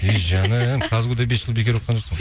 ей жаным казгу да бес жыл бекер оқыған жоқсың ғой